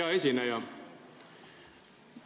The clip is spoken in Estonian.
Hea esineja!